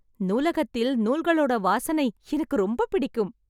நூலகத்தில் நூல்கள் ஓட வாசனை எனக்கு ரொம்ப பிடிக்கும்